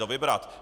dovybrat.